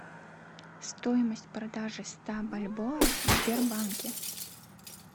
стоимость продажи ста бальбоа в сбербанке